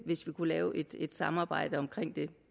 hvis vi kunne lave et samarbejde om det